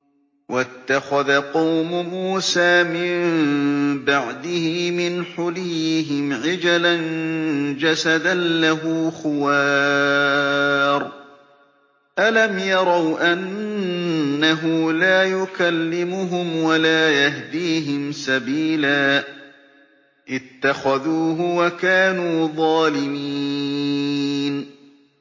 وَاتَّخَذَ قَوْمُ مُوسَىٰ مِن بَعْدِهِ مِنْ حُلِيِّهِمْ عِجْلًا جَسَدًا لَّهُ خُوَارٌ ۚ أَلَمْ يَرَوْا أَنَّهُ لَا يُكَلِّمُهُمْ وَلَا يَهْدِيهِمْ سَبِيلًا ۘ اتَّخَذُوهُ وَكَانُوا ظَالِمِينَ